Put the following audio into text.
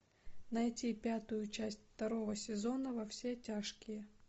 найти пятую часть второго сезона во все тяжкие